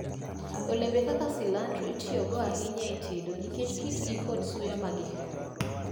Olembe kaka cilantro itiyogo ahinya e tedo nikech kitgi kod suya ma gihero.